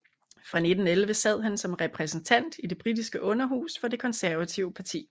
Fra 1911 sad han som repræsentant i det britiske underhus for det konservative parti